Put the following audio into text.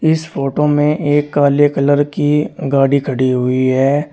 इस फोटो में एक काले कलर की गाड़ी खड़ी हुई है।